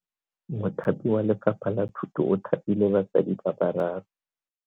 Mothapi wa Lefapha la Thuto o thapile basadi ba bararo.